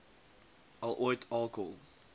al ooit alkohol